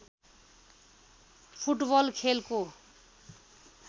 football खेलको